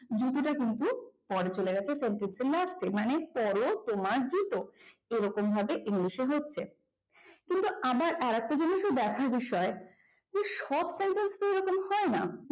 জুতোটা কিন্তু পরে চলে গেছে মানে sentence এর last এ মানে পর তোমার জুতো এরকম ভাবে ইংলিশে হচ্ছে কিন্তু আবার আরেকটা জিনিসও দেখার বিষয় যে সব জায়গায় তো এরকম হয়না